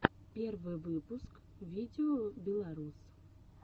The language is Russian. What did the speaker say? первый выпуск видеобеларус